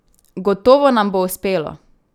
Gotovo nam bo uspelo!